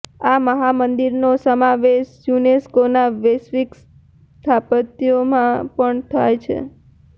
આ મહામંદિરનો સમાવેશ યુનેસ્કોના વૈશ્વિક સ્થાપત્યોમાં પણ થાય છે